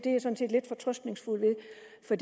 for